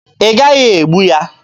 Ị gaghị egbu ya!